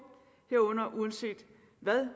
herunder at alle uanset hvad